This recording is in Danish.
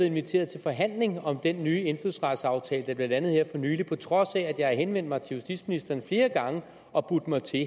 inviteret til forhandling om den nye indfødsretsaftale der blev landet her for nylig på trods af at jeg har henvendt mig til justitsministeren flere gange og budt mig til